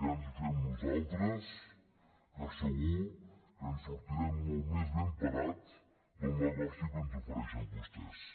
que ja ens ho fem nosaltres que segur que en sortirem molt més ben parats del negoci que ens ofereixen vostès